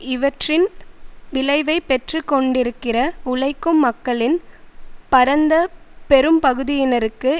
இவற்றின் விளைவைப் பெற்றுக்கொண்டிருக்கிற உழைக்கும் மக்களின் பரந்த பெரும்பகுதியினருக்கு